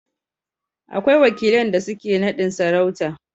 akwai wakilan da suke nadin sarauta